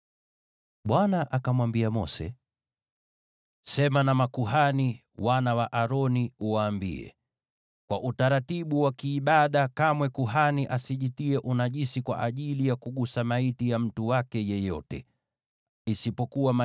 Bwana akamwambia Mose, “Sema na makuhani, wana wa Aroni, uwaambie: ‘Kamwe kuhani asijitie unajisi kwa utaratibu wa kiibada kwa ajili ya mtu wake yeyote anayekufa,